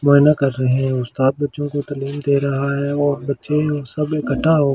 मोआईना कर रहे हैं उस्‍ताद बच्‍चों को तालि‍म दे रहा है और बच्‍चे सब इकट्ठा होकर --